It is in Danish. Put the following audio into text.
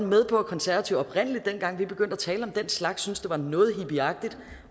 med på at konservative oprindelig dengang vi begyndte at tale om den slags var noget hippieagtigt